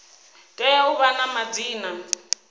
tea u vha na madzina